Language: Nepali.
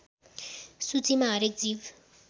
सूचीमा हरेक जीव